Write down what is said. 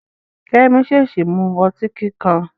Kẹ́mi ṣèèṣì mu ọtí kíkan.